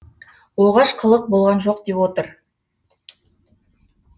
оғаш қылық болған жоқ деп отыр